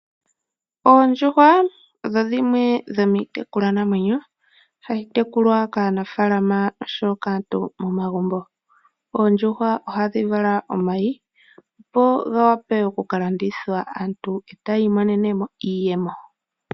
Oondjuhwa odho dhimwe dhomiitekulwa namwenyo hayi tekulwa kaantu momagumbo oshowo kaanafaalama . Oondjuhwa ohadhi vala omayi , dhiwape oku kalandithwa aantu eta ya imonenemo iiyemo.